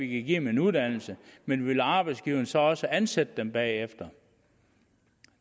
give dem en uddannelse men vil arbejdsgiverne så også ansætte dem bagefter